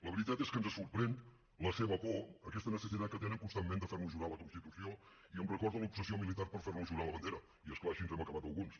la veritat és que ens sorprèn la seva por aquesta necessitat que tenen constantment de fer nos jurar la constitució i em recorda l’obsessió militar per fer nos jurar la bandera i és clar així hem acabat alguns